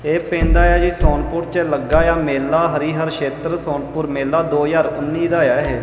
ਇਹ ਪੈਂਦਾ ਆ ਜੀ ਸੋਨਪੁਰ ਚ ਲੱਗਾ ਆ ਮੇਲਾ ਹਰੀਹਰ ਸ਼ੇਤਰ ਸੋਨਪੁਰ ਮੇਲਾ ਦੋ ਹਜ਼ਾਰ ਉੱਨੀ ਦਾ ਆ ਇਹ।